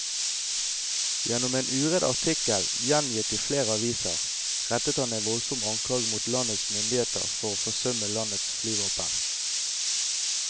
Gjennom en uredd artikkel gjengitt i flere aviser, rettet han en voldsom anklage mot landets myndigheter for å forsømme landets flyvåpen.